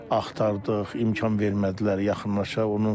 Axtardıq, imkan vermədilər, yaxınlaşa.